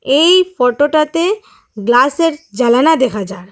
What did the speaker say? এই ফটো -টাতে গ্লাস -এর জানালা দেখা যার ।